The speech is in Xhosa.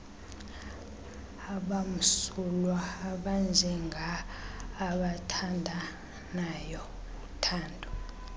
abamsulwa abanjengaabathandanayo uthando